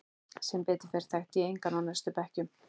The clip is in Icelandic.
Sem betur fer þekki ég engan á næstu bekkjum.